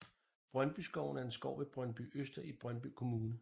Brøndbyskoven er en skov ved Brøndbyøster i Brøndby Kommune